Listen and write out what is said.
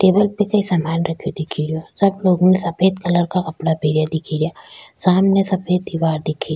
table पे कई सामान रखो दिख रो सब लोग न सफेद कलर का कपड़ा पेरा दिख रा सामन सफेद दीवार दिख --